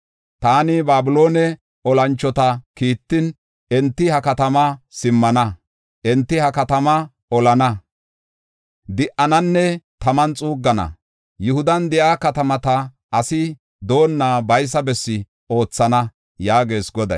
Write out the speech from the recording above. Taani Babiloone olanchota kiittin; enti ha katama simmana. Enti ha katamaa olana, di7ananne taman xuuggana. Yihudan de7iya katamata asi doonna baysa bessi oothana” yaagees Goday.